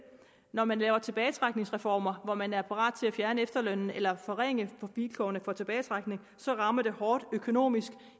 når man laver tilbagetrækningsreformer hvor man er parat til at fjerne efterlønnen eller forringe vilkårene for de tilbagetrækkende så rammer det hårdt økonomisk